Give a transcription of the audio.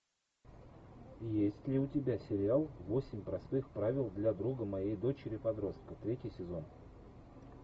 есть ли у тебя сериал восемь простых правил для друга моей дочери подростка третий сезон